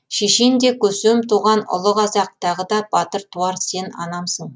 шешен де көсем туған ұлы қазақ тағы да батыр туар сен анамсың